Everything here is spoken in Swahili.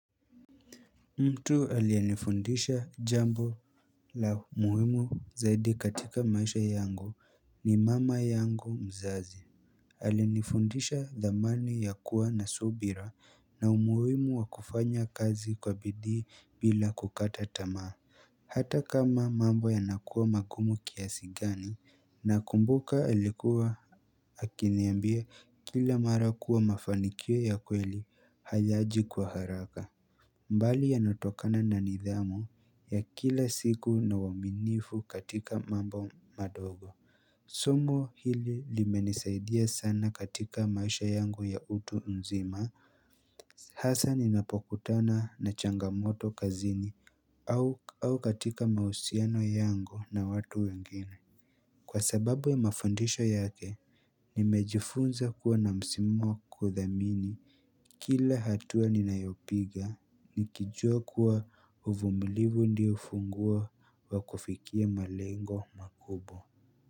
Mtu aliyenifundisha jambo la muhimu zaidi katika maisha yangu ni mama yangu mzazi Alinifundisha dhamani ya kuwa na subira na umuhimu wa kufanya kazi kwa bidii bila kukata tamaa Hata kama mambo yanakuwa magumu kiasi gani nakumbuka alikuwa akiniambia kila mara kuwa mafanikio ya kweli hayaji kwa haraka bali yanatokana na nidhamu ya kila siku na uaminifu katika mambo madogo Somo hili limenisaidia sana katika maisha yangu ya mtu mzima Hasaa ninapokutana na changamoto kazini au katika mausiano yangu na watu wengine Kwa sababu ya mafundisho yake Nimejifunza kuwa na musimu wa kudhamini Kila hatua ninayopiga Nikijua kuwa uvumilivu ndio fungua wa kufikia malengo makubwa.